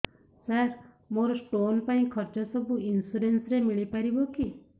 ସାର ମୋର ସ୍ଟୋନ ପାଇଁ ଖର୍ଚ୍ଚ ସବୁ ଇନ୍ସୁରେନ୍ସ ରେ ମିଳି ପାରିବ କି